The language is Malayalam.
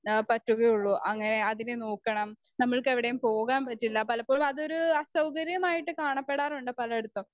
സ്പീക്കർ 2 ആ പറ്റുകയുള്ളൂ അങ്ങനെ അതിനെ നോക്കണം നമ്മൾക്ക് എവിടെയും പോകാൻ പറ്റില്ല പലപ്പോഴും അതൊരു സൗകര്യമായിട്ട് കാണപ്പെടാറുണ്ട് പലയിടത്തും.